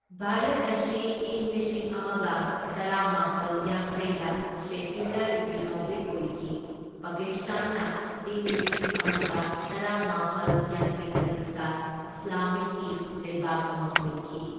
ꯚꯥꯔꯠ ꯑꯁꯤ ꯏꯪ ꯂꯤꯁꯤꯡ ꯑꯃꯒ ꯇꯔꯥꯃꯥꯄꯜ ꯌꯥꯡꯈꯩꯗ ꯁꯦꯀ꯭ꯌꯨꯂꯔ ꯔꯤꯄꯕ꯭ꯂꯤꯛ ꯑꯣꯏꯈꯤ, ꯄꯥꯀꯤꯁꯇꯥꯟꯅ ꯏꯪ ꯂꯤꯁꯤꯡ ꯑꯃꯒ ꯇꯔꯥꯃꯥꯄꯜ ꯌꯥꯡꯈꯩꯇꯔꯨꯛꯇ ꯏꯁꯂꯥꯃꯤꯛꯒꯤ ꯂꯩꯕꯥꯛ ꯑꯃ ꯑꯣꯏꯈꯤ꯫